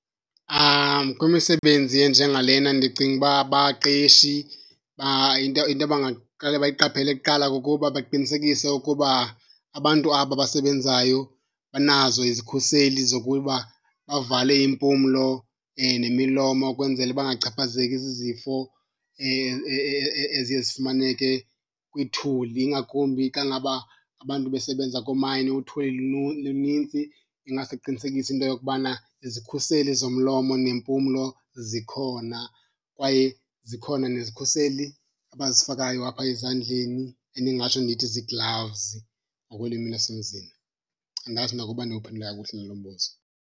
Kwimisebenzi enjengalena ndicinga uba abaqeshi into, into abangaqale bayiqaphele kuqala kukuba baqinisekise ukuba abantu aba basebenzayo banazo izikhuseli zokuba bavale iimpumlo nemilomo, ukwenzela bangachaphazeki zizifo eziye zifumaneke kwithuli, ingakumbi xa ngaba abantu besebenza koomayini uthuli lunintsi. Ingaske kuqinisekiswe into yokubana izikhuseli zomlomo nempumlo zikhona kwaye zikhona nezikhuseli abazifakayo apha ezandleni endingatsho ndithi zii-gloves ngokwelwimi lasemzini. Andazi nokuba ndiwuphendule kakuhle na lo mbuzo.